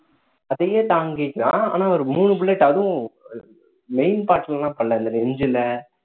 அதையே தாங்கிக்கிறான் ஆனா ஒரு மூணு bullet அதுவும் main part ல எல்லாம் படல இல்ல நெஞ்சுல